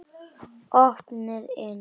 Opið inn!